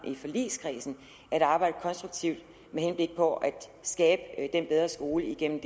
i forligskredsen at arbejde konstruktivt med henblik på at skabe den bedre skole igennem